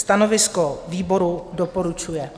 Stanovisko výboru: doporučuje.